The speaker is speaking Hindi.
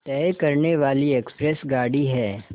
तय करने वाली एक्सप्रेस गाड़ी है